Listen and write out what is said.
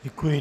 Děkuji.